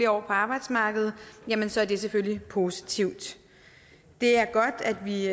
år på arbejdsmarkedet ja så er det selvfølgelig positivt det er godt at vi